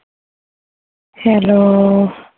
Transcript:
hello